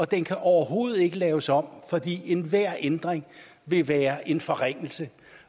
den overhovedet ikke kan laves om fordi enhver ændring vil være en forringelse